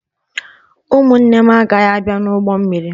Ụmụnne m agaghị abịa n'ụgbọ mmiri.